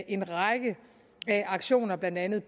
en række aktioner blandt andet